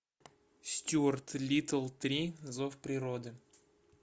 стюарт литтл три зов природы